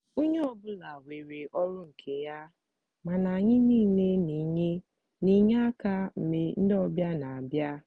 onye ọ bụla nwere ọrụ nke ya mana anyị niile n'enye n'enye aka mgbe ndị ọbịa n'abịa.